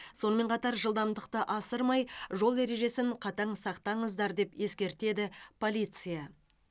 сонымен қатар жылдамдықты асырмай жол ережесін қатаң сақтаңыздар деп ескертеді полиция